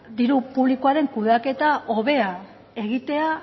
diru publikoaren kudeaketa hobea egitea